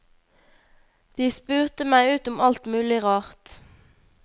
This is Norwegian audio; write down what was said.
De spurte meg ut om alt mulig rart.